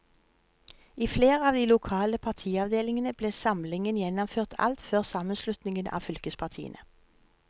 I flere av de lokale partiavdelingene ble samlingen gjennomført alt før sammenslutningen av fylkespartiene.